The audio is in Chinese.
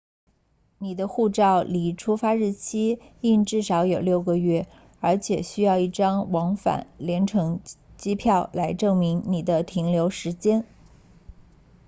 你的护照离出发日期应至少有6个月而且需要一张往返联程机票来证明你的停留时间